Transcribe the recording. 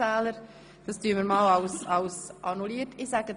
– Ich blicke zu den Stimmenzählern: